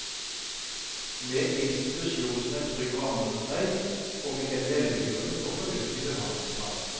Med institusjonen som en trygg ramme rundt meg, og med en velbegrunnet og fornuftig behandlingsplan.